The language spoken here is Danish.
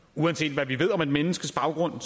uanset hvad vi ved om et menneskes baggrund